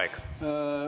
Aeg!